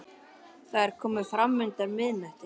Það er komið fram undir miðnætti.